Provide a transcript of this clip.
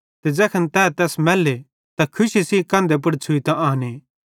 ते ज़ैखन ते तैस मैल्ले त खुशी सेइं कंधे पुड़ छ़ुइतां आने